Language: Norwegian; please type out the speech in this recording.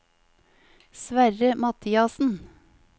Sverre Mathiassen